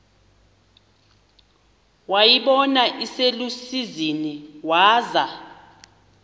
wayibona iselusizini waza